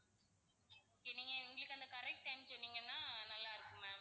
okay நீங்க எங்களுக்கு அந்த correct time சொன்னீங்கன்னா நல்லா இருக்கும் ma'am